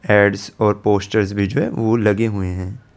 ads और posters भी जो है वो लगे हुए --